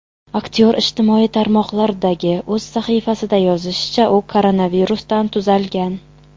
Aktyor ijtimoiy tarmoqlardagi o‘z sahifasida yozishicha , u koronavirusdan tuzalgan.